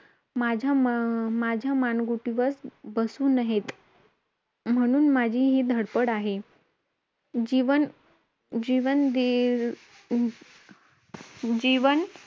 म दोघांमध्ये अ सुरु दोघांमध्ये match सुरू झाली तेव्हा match खेळताना सरांचा चष्मा खाली पडला.व~